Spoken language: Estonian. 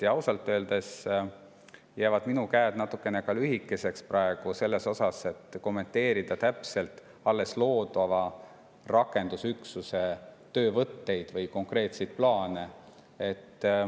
Ja ausalt öeldes jäävad minu käed ka natuke lühikeseks, et kommenteerida praegu alles loodava rakendusüksuse töövõtteid või konkreetseid plaane.